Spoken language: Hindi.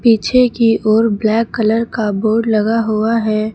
पीछे की ओर ब्लैक कलर का का बोर्ड लगा हुआ है।